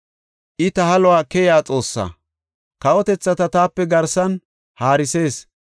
I ta haluwa keyiya Xoossaa; kawotethata taape garsan haarisees.